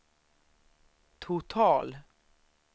total